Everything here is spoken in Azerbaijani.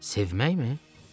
Sevməkmi?